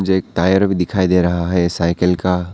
जे एक टायर भी दिखाई दे रहा है साइकिल का।